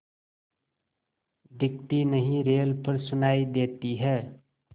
दिखती नहीं रेल पर सुनाई देती है